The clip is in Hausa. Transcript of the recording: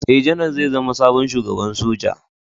Ee, Janar zai zama sabon Shugaban Soja.